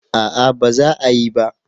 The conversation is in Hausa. A'a ba za a yi ba